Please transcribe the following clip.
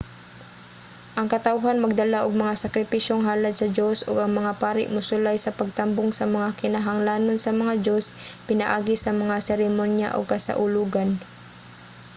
ang katawhan magdala og mga sakripisyong halad sa dios og ang mga pari mosulay sa pagtambong sa mga kinahanglanon sa mga dios pinaagi sa mga seremonya ug kasaulogan